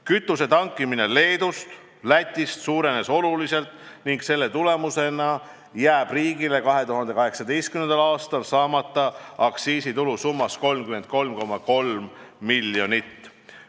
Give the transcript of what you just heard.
Kütuse tankimine Leedus ja Lätis suurenes oluliselt ning selle tulemusena jääb riigile 2018. aastal saamata 33,3 miljonit aktsiisitulu.